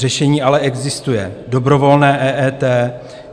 Řešení ale existuje: dobrovolné EET.